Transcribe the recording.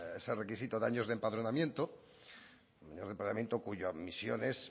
ese requisito de años de empadronamiento cuya admisión es